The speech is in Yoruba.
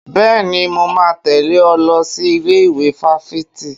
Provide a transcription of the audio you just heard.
Bẹ́ẹ̀ni, mo máa tẹ̀lé ọ lọ sí ilé ìwé fáfitì